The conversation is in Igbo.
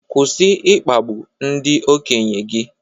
Kwụsị ịkpagbu ndị okenye gị